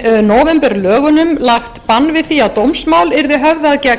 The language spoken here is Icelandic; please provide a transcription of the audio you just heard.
nóvemberlögunum lagt bann við því að dómsmál yrði höfðað gegn